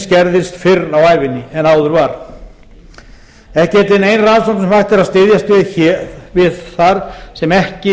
skerðist fyrr á ævinni en áður var ekki er til nein rannsókn sem hægt er að styðjast við þar sem ekki